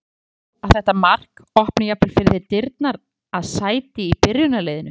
Heldur þú að þetta mark opni jafnvel fyrir þér dyrnar að sæti í byrjunarliðinu?